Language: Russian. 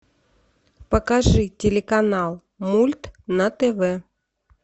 покажи телеканал мульт на тв